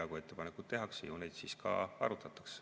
Kui ettepanekuid tehakse, ju neid siis ka arutatakse.